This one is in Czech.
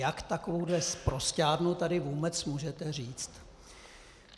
Jak takovouhle sprosťárnu tady vůbec můžete říct!